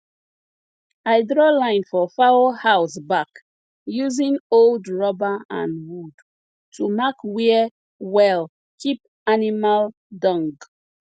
i draw line for fowl house back using old rubber and wood to mark where well keep animal dung